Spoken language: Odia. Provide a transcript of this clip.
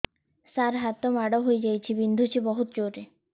ସାର ହାତ ମାଡ଼ ହେଇଯାଇଛି ବିନ୍ଧୁଛି ବହୁତ ଜୋରରେ